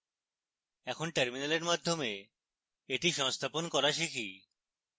এখন terminal মাধ্যমে এটি সংস্থাপন করা শিখি